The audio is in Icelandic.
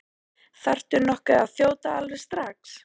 Þarftu nokkuð að þjóta alveg strax?